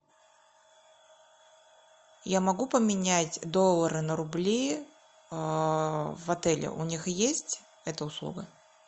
я могу поменять доллары на рубли в отеле у них есть эта услуга